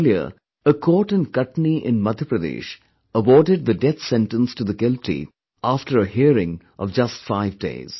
Earlier, a court in Katni in Madhya Pradesh awarded the death sentence to the guilty after a hearing of just five days